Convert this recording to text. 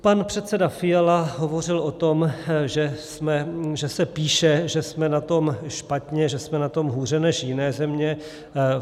Pan předseda Fiala hovořil o tom, že se píše, že jsme na tom špatně, že jsme na tom hůře než jiné země.